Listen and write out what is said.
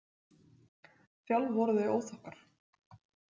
Sjálf voru þau óþokkar.